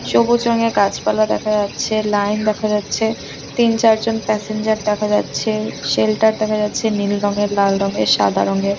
সবুজ রঙের গাছপালা দেখা যাচ্ছে। লাইন দেখা যাচ্ছে তিন চার জন প্যাসেঞ্জের দেখা যাচ্ছে। শেল্টার দেখা যাচ্ছে নীল রঙের লাল রঙের সাদা রঙের ।